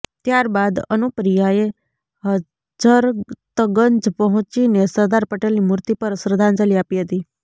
ત્યારબાદ અનુપ્રિયાએ હજરતગંજ પહોંચીને સરદાર પટેલની મૂર્તિ પર શ્રદ્ધાંજલિ આપી હતી